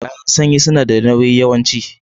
Kayan sanyi sunada nauyi yawanci